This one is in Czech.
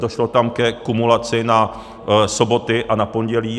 Došlo tam ke kumulaci na soboty a na pondělí.